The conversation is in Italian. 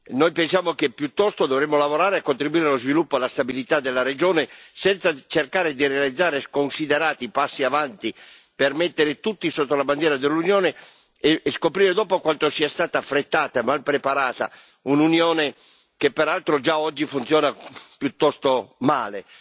Noi pensiamo che piuttosto dovremmo lavorare e contribuire allo sviluppo e alla stabilità della regione, senza cercare di realizzare sconsiderati passi avanti per mettere tutti sotto la bandiera dell'Unione e scoprire dopo quanto sia stata affrettata e mal preparata un'Unione che peraltro già oggi funziona piuttosto male.